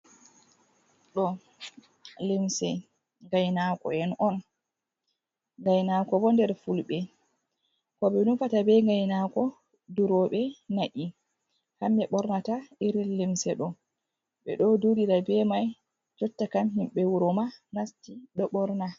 Ɗo lemse gainako'en on gainako bo der fulɓe ko be nufata be gainako duroɓe na’i hamme ɓornata iril limse do be do durirai be mai jotta kam himbe wuroma nasti do borna.